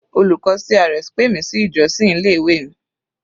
Olùkọ́ CRS pè mi sí ìjọ́sìn ilé ìwé mi.